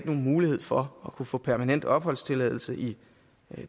nogen mulighed for at kunne få permanent opholdstilladelse i